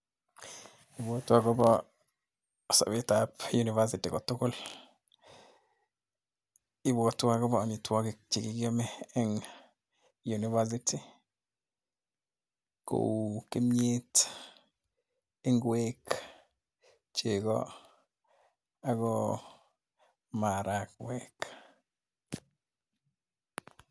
Abwotei akobo sobetab universiy kotugul, Ibwotwo akobo amitwokik che kikiamei eng university kou kimnyet, ngwek, chegoo ako marakwek.